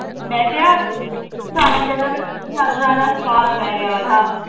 ਮੈਂ ਕਿਹਾ ਸਾਨੂੰ ਸਵਾਦ ਪੈ ਗਿਆ ਤਾ